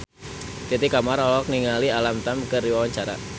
Titi Kamal olohok ningali Alam Tam keur diwawancara